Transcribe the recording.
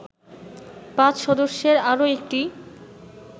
৫ সদস্যের আরো একটি